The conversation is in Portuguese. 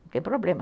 Não tem problema.